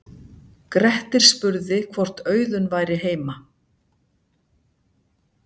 Grettir spurði hvort Auðunn væri heima.